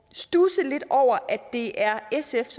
studse lidt over at det er sf